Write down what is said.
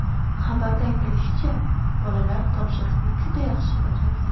Xabarda aytilishicha, bolalar topshiriqni juda yaxshi bajargan.